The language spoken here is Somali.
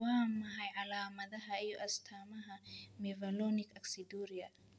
Waa maxay calaamadaha iyo astamaha Mevalonic aciduria?